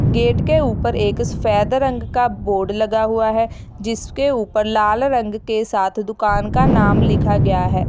Gate के ऊपर एक सफेद रंग का बोर्ड लगा हुआ है जिसके ऊपर लाल रंग के साथ दुकान का नाम लिखा गया है।